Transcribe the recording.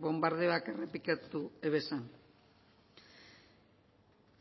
bonbardeoak errepikatu zituzten